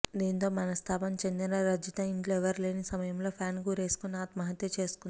దీంతో మనస్థాపం చెందిన రజిత ఇంట్లో ఎవరూలేని సమయంలో ఫ్యాన్కు ఉరేసుకొని ఆత్మహత్య చేసుకుంది